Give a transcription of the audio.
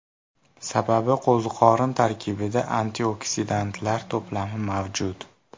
Sababi qo‘ziqorin tarkibida antioksidantlar to‘plami mavjud.